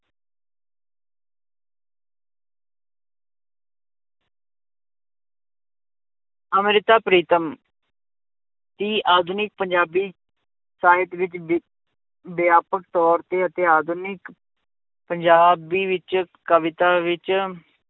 ਅੰਮ੍ਰਿਤਾ ਪ੍ਰੀਤਮ ਦੀ ਆਧੁਨਿਕ ਪੰਜਾਬੀ ਸਾਹਿਤ ਵਿੱਚ ਵਿ~ ਵਿਆਪਕ ਤੌਰ ਤੇ ਅਤੇ ਆਧੁਨਿਕ ਪੰਜਾਬੀ ਵਿੱਚ ਕਵਿਤਾ ਵਿੱਚ